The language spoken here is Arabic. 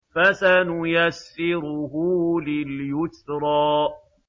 فَسَنُيَسِّرُهُ لِلْيُسْرَىٰ